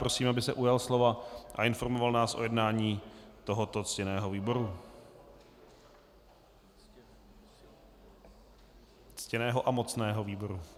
Prosím, aby se ujal slova a informoval nás o jednání tohoto ctěného výboru, ctěného a mocného výboru.